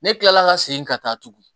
Ne kilala ka segin ka taa tugun